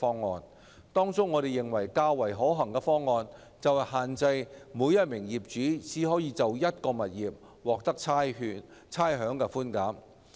在這些方案中，我們認為較為可行的是限制每名業主只可就一個物業獲得差餉寬減。